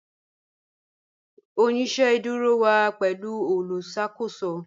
Oṣiṣẹ iṣẹdúrò wa pẹ̀lú olùṣakòsò